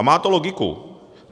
A má to logiku.